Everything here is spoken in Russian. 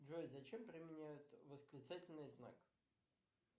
джой зачем применяют восклицательный знак